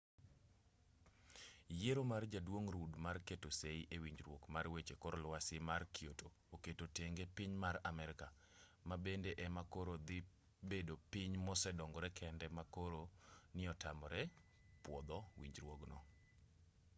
yiero mar jaduong' rudd mar keto sei e winjruok mar weche kor lwasi mar kyoto oketo tenge piny mar amerka ma bende ema koro dhi bedo piny mosedongore kende ma koro ni otamore pwodho winjruogno